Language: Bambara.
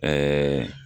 Ɛɛ